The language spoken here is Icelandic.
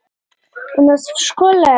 Þetta var gagnrýnin